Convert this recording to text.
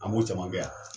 An b'o caman kɛ yan